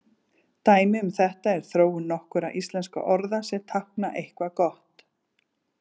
Dæmi um þetta er þróun nokkurra íslenskra orða sem tákna eitthvað gott.